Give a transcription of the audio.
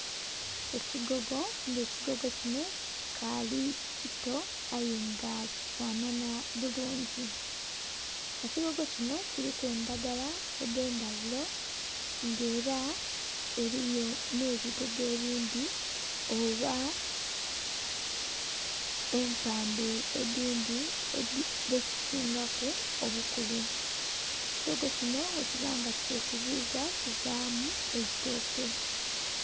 Ekigogo nga ekigogo kinho kikali kito aye nga kifanhanah bulungi, ekigogo kinho kiliku endhagala edhe ndhagulo nga era eriyo nhe bigogo ebindhi oba empandhu edindhi dhe kisingaku obukulu, ekigogo kinho ghe kuba nga kye kuziiza kivaamu eitooke.